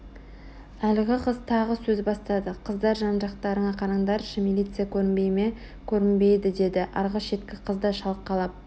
Әлгі қыз тағы сөз бастады Қыздар жан-жақтарыңа қараңдаршы милиция көрінбей ме көрінбейді деді арғы шеткі қыз да шалқалап